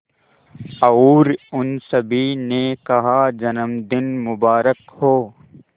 और उन सभी ने कहा जन्मदिन मुबारक हो